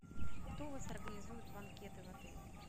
кто у вас организует банкеты в отеле